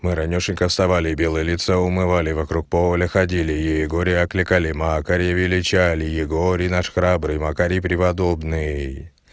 мы ранешенько вставали белое лицо умывались вокруг поле ходили игоре окликали макаревича ли игорь наши храбрые макарий преподобный